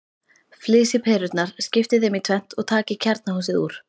Flysjið perurnar, skiptið þeim í tvennt og takið kjarnahúsið úr.